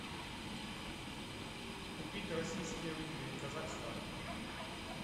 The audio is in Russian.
купить российские рубли казахстан